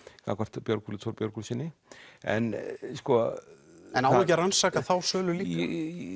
gagnvart Björgólfi t Björgólfssyni en en á ekki að rannsaka þá sölu líka